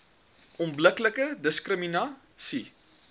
onbillike diskrimina sie